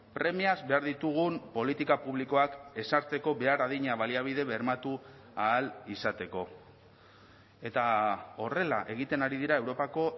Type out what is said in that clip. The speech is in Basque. premiaz behar ditugun politika publikoak ezartzeko behar adina baliabide bermatu ahal izateko eta horrela egiten ari dira europako